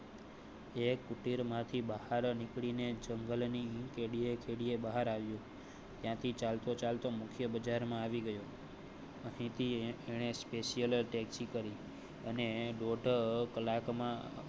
એ કુટિર માંથી બહાર નીકળી ને જંગલ ની કેડીએ કેડીએ બહાર આવી ત્યાંથી ચાલ તો ચાલ તો મુખ્ય બજારમાં આવી ગયો. હતી એણે special taxi કરી અને દોઢ કલાક માં